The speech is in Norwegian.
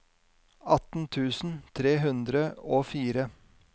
atten tusen tre hundre og fire